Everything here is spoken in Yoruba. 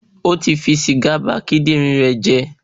O ti fi sìgá ba kíndìnrín rẹ̀ jẹ́